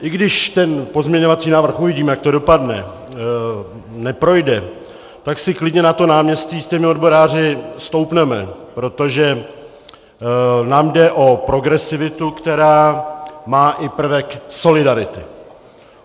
I když ten pozměňovací návrh - uvidíme, jak to dopadne - neprojde, tak si klidně na to náměstí s těmi odboráři stoupneme, protože nám jde o progresivitu, která má i prvek solidarity.